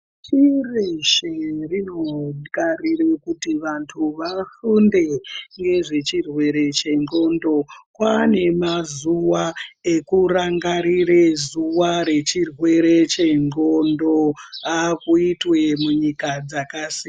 Pashi reshe rinogarira kuti vantu vafunde nezvechirwere chengonxo kwane mazuwa ekurangarire zuwa nechirwere chengonxo akuitwa munyika dzakasiyana.